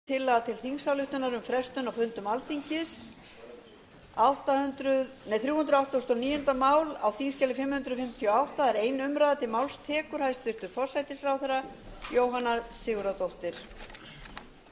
hæstvirtur forseti ég mæli fyrir tillögu til þingsályktunar um samþykki til frestunar á fundum alþingis samkvæmt fyrstu málsgrein tuttugustu og þriðju grein stjórnarskrárinnar en tillagan hljóðar svo með leyfi